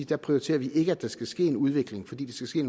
der prioriterer vi at der ikke skal ske en udvikling fordi den skal ske